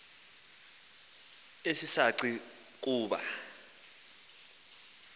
esi saci kuba